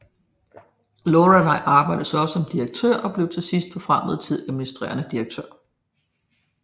Lorelai arbejdede sig op gennem årene og blev til sidst forfremmet til administrende direktør